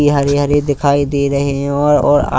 ये हरे हरे दिखाई दे रहे हैं और और--